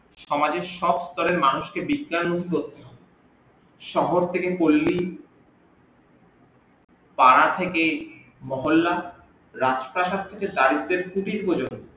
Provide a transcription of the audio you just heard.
সমাজের সব স্তরের মানুষকে বিজ্ঞান মুখ্য শহর থেকে পল্লি পারা থেকে মহল্লা রাস্তা ঘাট থেকে